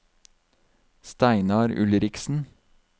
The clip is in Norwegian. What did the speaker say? Steinar Ulriksen